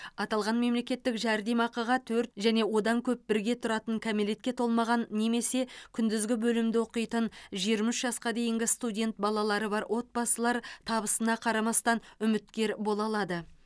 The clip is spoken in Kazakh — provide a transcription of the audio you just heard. аталған мемлекеттік жәрдемақыға төрт және одан көп бірге тұратын кәмелетке толмаған немесе күндізгі бөлімде оқитын жиырма үш жасқа дейінгі студент балалары бар отбасылар табысына қарамастан үміткер бола алады